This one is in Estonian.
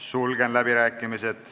Sulgen läbirääkimised.